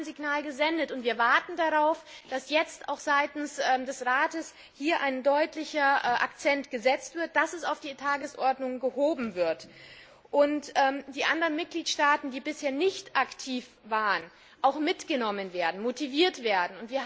Wir haben ein Signal gesendet und wir warten darauf, dass jetzt auch seitens des Rates ein deutlicher Akzent gesetzt wird, dass das Thema auf die Tagesordnung gesetzt wird, dass die anderen Mitgliedstaaten, die bisher nicht aktiv waren, auch mitgenommen und motiviert werden.